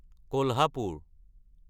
Kolhapur